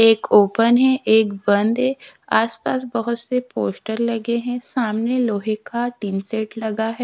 एक ओपन है एक बंद है आसपास बहोत से पोस्टर लगे हैं सामने लोहे का टीन शेड लगा है।